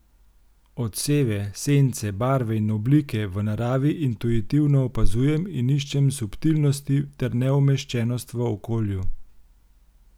Odseve, sence, barve in oblike v naravi intuitivno opazujem in iščem subtilnosti ter neumeščenost v okolju.